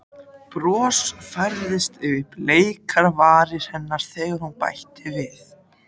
Bros færðist yfir bleikar varir hennar þegar hún bætti við